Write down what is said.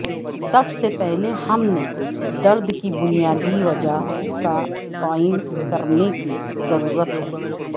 سب سے پہلے ہم نے درد کی بنیادی وجہ کا تعین کرنے کی ضرورت ہے